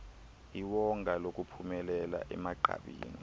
iwonga lokuphumelela emagqabini